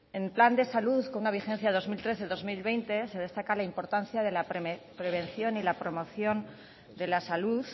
en el plan de salud con una vigencia dos mil trece dos mil veinte se destaca la importancia de la prevención y la promoción de la salud